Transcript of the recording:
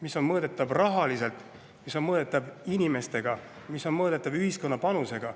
See on mõõdetav rahaliselt, see on mõõdetav inimestega, see on mõõdetav ühiskonna panusega.